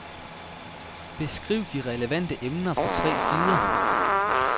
Beskriv de relevante emner på tre sider.